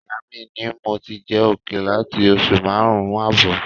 Ìyá mi ni mo ti ń jẹ òkèlè láti oṣù márùn-ún ààbọ̀